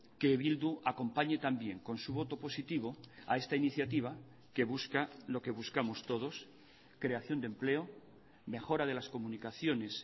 que bildu acompañe también con su voto positivo a esta iniciativa que busca lo que buscamos todos creación de empleo mejora de las comunicaciones